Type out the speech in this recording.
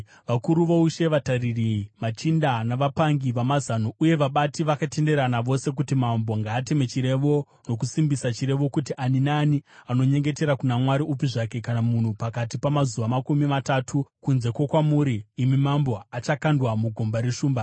Vakuru voushe vatariri, machinda, navapangi vamazano uye vabati vakatenderana vose kuti mambo ngaateme chirevo nokusimbisa chirevo kuti ani naani anonyengetera kuna mwari upi zvake kana munhu pakati pamazuva makumi matatu, kunze kwokwamuri imi mambo, achakandwa mugomba reshumba.